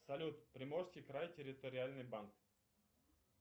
салют приморский край территориальный банк